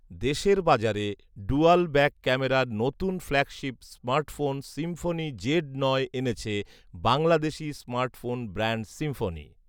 দেশের বাজারে dual back ক্যামেরার নতুন ফ্ল্যাগশিপ স্মার্টফোন সিম্ফোনি জেড নয় এনেছে বাংলাদেশি স্মার্টফোন ব্র্যান্ড সিম্ফনি